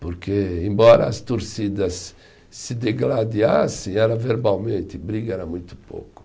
Porque embora as torcidas se degradeassem, era verbalmente, briga era muito pouco.